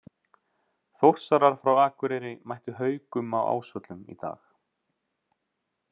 Þórsarar frá Akureyri mættu Haukum á Ásvöllum í dag.